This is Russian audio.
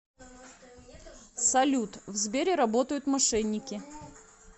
салют в сбере работают мошенники